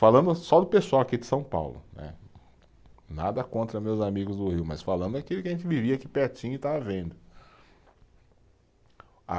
Falando só do pessoal aqui de São Paulo, né, nada contra meus amigos do Rio, mas falando daquilo que a gente vivia aqui pertinho e estava vendo. A